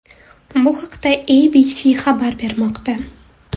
Bu haqda ABC xabar bermoqda .